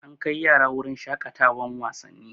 An kai yara wurin shaƙatawan wasanni